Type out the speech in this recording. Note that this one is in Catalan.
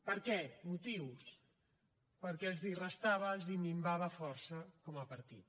per què motius perquè els restava els minvava força com a partit